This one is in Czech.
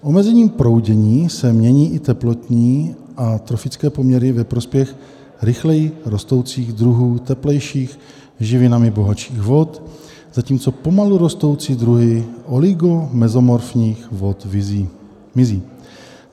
Omezením proudění se mění i teplotní a trofické poměry ve prospěch rychleji rostoucích druhů teplejších, živinami bohatších vod, zatímco pomalu rostoucí druhy oligomezotrofních vod mizí.